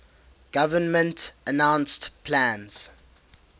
government announced plans